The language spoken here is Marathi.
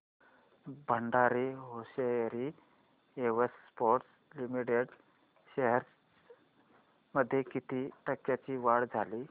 Bhandari hosiery exports limited shares मध्ये किती टक्क्यांची वाढ झाली